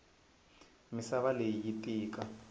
misava leyi yi tika